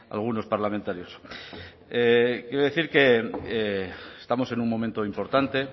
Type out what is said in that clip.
algunos parlamentarios quiero decir que estamos en un momento importante